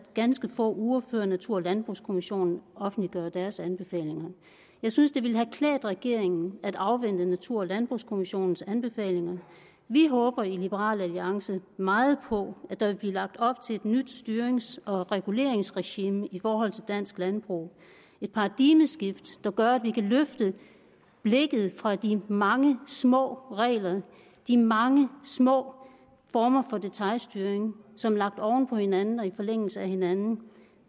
ganske få uger før natur og landbrugskommissionen offentliggør deres anbefalinger jeg synes det ville have klædt regeringen at afvente natur og landbrugskommissionens anbefalinger vi håber i liberal alliance meget på at der vil blive lagt op til et nyt styrings og reguleringsregime i forhold til dansk landbrug et paradigmeskift der gør at vi kan løfte blikket fra de mange små regler og de mange små former for detailstyring som lagt oven på hinanden og i forlængelse af hinanden